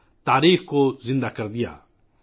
انہوں نے تاریخ کو زندہ کر دیا